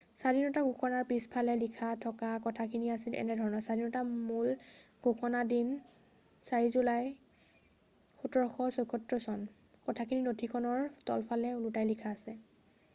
স্বাধীনতাৰ ঘোষণাৰ পিছফালে লিখা থকা কথাখিনি আছিল এনেধৰণৰ স্বাধীনতাৰ মূল ঘোষণাৰ দিন হৈছে 4 জুলাই 1776 চন কথাখিনি নথিখনৰ তলফালে ওলোটাকৈ লিখা আছে